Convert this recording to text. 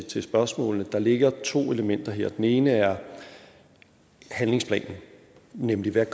til spørgsmålene ligger der to elementer her det ene er handlingsplanen nemlig hvad